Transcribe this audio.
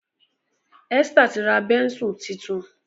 Esther tí ra Bẹ́ńsù títún.